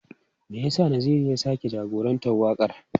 Me yasa Naziru ya sake jagorantar wakar?